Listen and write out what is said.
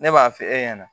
Ne b'a f'e ɲɛna